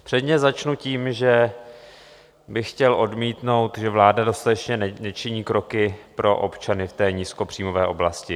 Předně začnu tím, že bych chtěl odmítnout, že vláda dostatečně nečiní kroky pro občany v té nízkopříjmové oblasti.